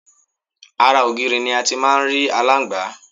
Ara ògiri ni a ti ń máà ń rí aláǹgbá